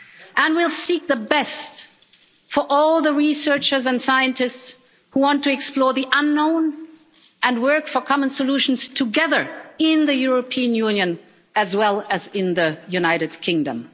And we'll seek the best for all the researchers and scientists who want to explore the unknown and work for common solutions together in the European Union as well as in the United Kingdom.